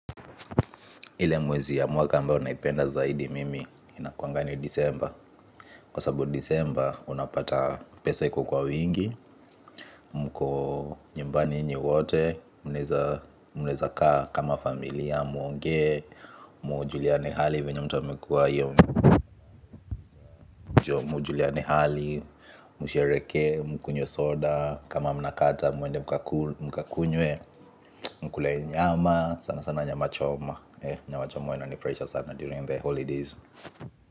Ile mwezi ya mwaka ambao naipenda zaidi mimi inakuwanga ni disemba. Kwa sababu disemba unapata pesa iko kwa wingi. Mko nyumbani nyinyi wote mnaeza mnaeza kaa kama familia muongee. Mjuliane hali venye mtu amekuwa hiyo. Mjuliane hali mshereheke mkunywe soda. Kama mnakata muende mkakunywe. Mkule nyama sana sana nyama choma. Nyama choma huwa inanifurahisha sana during the holidays.